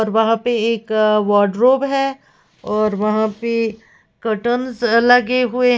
और वहां पे एक वार्डरोब है और वहां पे कर्टनस से लगे हुए --